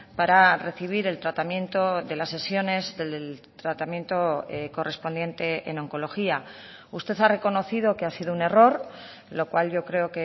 para recibir el tratamiento de las sesiones del tratamiento correspondiente en oncología usted ha reconocido que ha sido un error lo cual yo creo